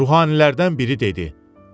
Ruhanilərdən biri dedi: